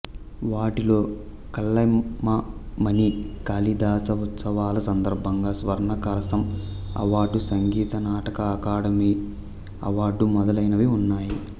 వాటిలో కళైమామణి కాళిదాస ఉత్సవాల సందర్భంగా స్వర్ణకలశం అవార్డు సంగీత నాటక అకాడమీ అవార్డుమొదలైనవి ఉన్నాయి